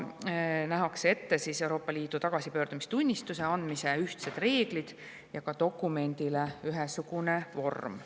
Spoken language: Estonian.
Nähakse ette Euroopa Liidu tagasipöördumistunnistuse andmise ühtsed reeglid ja ka dokumendile ühesugune vorm.